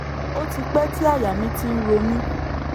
ó ti pẹ́ tí àyà mi ti ń ro mí